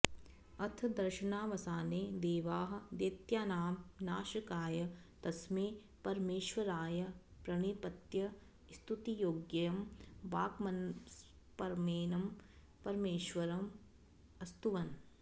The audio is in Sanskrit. अथ दर्शनावसाने देवाः दैत्यानां नाशकाय तस्मै परमेश्वराय प्रणिपत्य स्तुतियोग्यं वाङ्गमनसपरमेनं परमेश्वरम् अस्तुवन्